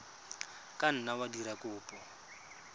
ka nna wa dira kopo